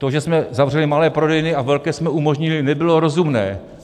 To, že jsme zavřeli malé prodejny a velké jsme umožnili, nebylo rozumné.